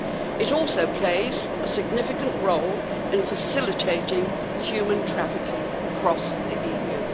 It also plays a significant role in facilitating human trafficking across the EU.